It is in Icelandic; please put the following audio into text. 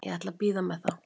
Ég ætla að bíða með það.